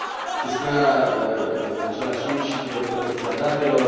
Se spunea, în același timp, și de protecția datelor.